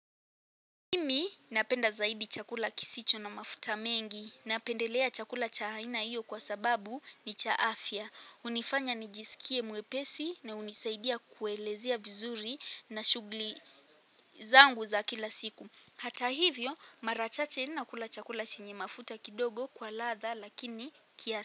Mimi napenda zaidi chakula kisicho na mafuta mengi. Napendelea chakula cha aina hiyo kwa sababu ni cha afya. Hunifanya nijisikie mwepesi na hunisaidia kuelezea vizuri na shughli zangu za kila siku. Hata hivyo marachache nakula chakula chenye mafuta kidogo kwa ladha lakini kiasa.